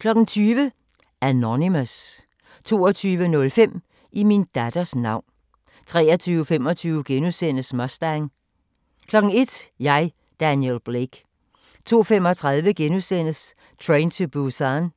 20:00: Anonymous 22:05: I min datters navn 23:25: Mustang * 01:00: Jeg, Daniel Blake 02:35: Train to Busan